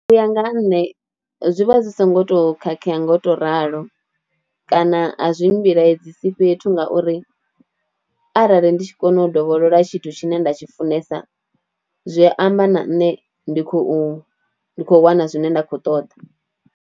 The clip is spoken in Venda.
U ya nga ha nṋe zwi vha zwi songo to khakhea nga u to ralo kana azwi mbilaedzisi fhethu ngauri arali ndi tshi kona u dovholola tshithu tshine nda tshi funesa zwi amba na ṋne ndi khou ndi khou wana zwine nda kho ṱoḓa.